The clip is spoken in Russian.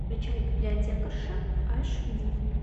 включай библиотекарша аш ди